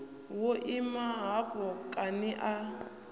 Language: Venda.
wo ima hafho kani a